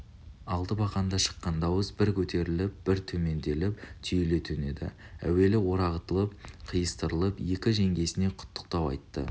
алты бақанда шыққан дауыс бір көтеріліп бір төмендеп түйіле төнеді әуелі орағытып қиыстырып екі жеңгесіне құттықтау айтты